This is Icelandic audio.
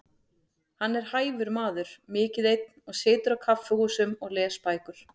Hann er hæfur maður, mikið einn og situr á kaffihúsum og les bækur.